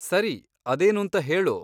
ಸರಿ, ಅದೇನೂಂತ ಹೇಳು.